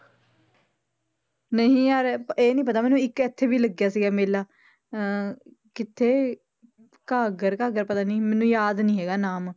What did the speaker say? ਨਹੀਂ ਯਾਰ ਇਹ ਨੀ ਪਤਾ ਮੈਨੂੰ ਇੱਕ ਇੱਥੇ ਵੀ ਲੱਗਿਆ ਸੀਗਾ ਮੇਲਾ ਅਹ ਕਿੱਥੇ ਘਾਘਰ ਘਾਘਰ ਪਤਾ ਨੀ, ਮੈਨੂੰ ਯਾਦ ਨੀ ਹੈਗਾ ਨਾਮ।